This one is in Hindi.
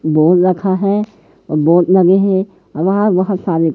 बोल रखा है बोर्ड लगे हैं वहां बहोत सारे--